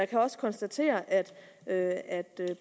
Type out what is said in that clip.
kan også konstatere at at